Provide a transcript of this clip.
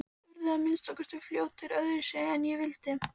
Urðu að minnsta kosti fljótt öðruvísi en ég vildi.